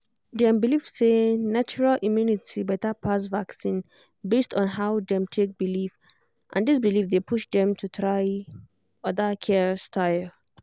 dem believe say natural immunity better pass vaccine based on how dem take believe and this belief dey push dem to try other care style